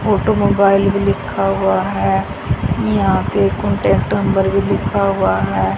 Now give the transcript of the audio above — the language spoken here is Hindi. ऑटोमोबाइल भी लिखा हुआ है यहां पे कांटेक्ट नंबर भी लिखा हुआ है।